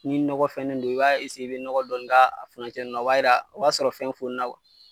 Ni ɲɔgɔ fɛnnen don, i b'a i bi nɔgɔ dɔɔni k'a furancɛw nunnu la o b'a sɔrɔ fɛn fonina